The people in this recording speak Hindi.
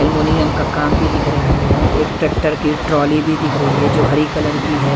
एल्युमिनियम का काम भी दिख रहा है एक ट्रैक्टर की ट्रॉली भी दिख री है जो हरी कलर की है।